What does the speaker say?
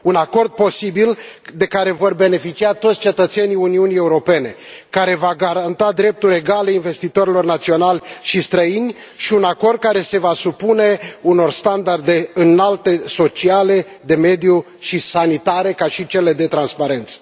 un acord posibil, de care vor beneficia toți cetățenii Uniunii Europene, care va garanta drepturi egale investitorilor naționali și străini și un acord care se va supune unor standarde înalte sociale, de mediu și sanitare, precum și de transparență.